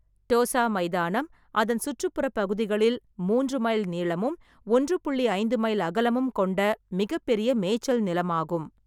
தோசா மைதானம் அதன் சுற்றுப்புறப் பகுதிகளில் மூன்று மைல் நீளமும் ஒன்று புள்ளி ஐந்து மைல் அகலமும் கொண்ட மிகப் பெரிய மேய்ச்சல் நிலமாகும்.